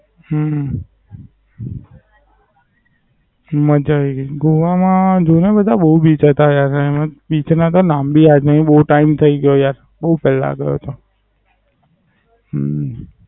હમ મજાવી ગઈ તી. ગોવા માં ઘણું બધું બોવ Beach હતા યાર અને Beach ના તો નામ ભી યાદ નહી બો ટાઈમ થઈ ગયો યાર બો પેલા ગયો તો. હમ